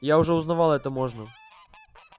я уже узнавала это можно